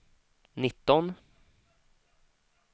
nitton